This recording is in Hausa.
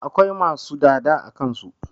Akwai masu dada a kansu